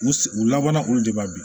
U u labanna olu de b'a di